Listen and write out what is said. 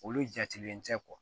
Olu jatilen tɛ